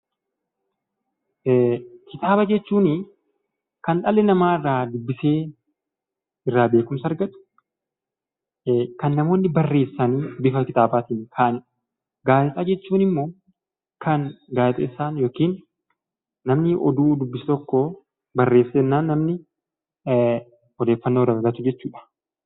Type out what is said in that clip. Kitaaba jechuunii kan dhalli namaa irraa dubbisee irraa beekumsa argatu, kan namoonni barreessanii bifa kitaabaatiin kaa'anidha. Gaazexaa jechuun immoo kan gaazexeessaan yookiin namni oduu dubbisu tokkoo barreessee jennaan namni odeeffannoo irraa argatu jechuudha.